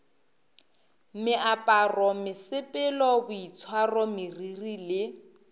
meaparo mesepelo boitshwaro meriri le